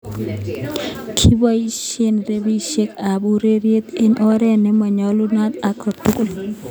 Kipoisye rapisyek ap ureryet en oret ne manyolunot atkan tukul